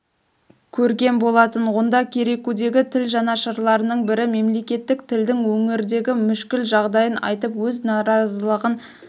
көрген болатын онда керекудегі тіл жанашырларының бірі мемлекеттік тілдің өңірдегі мүшкіл жағдайын айтып өз наразылығын